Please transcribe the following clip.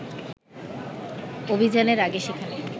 অভিযানের আগে সেখানে